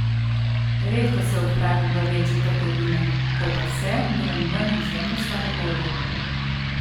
Redko se odpravim v večje trgovine, ko pa se, grem ven izjemno slabe volje.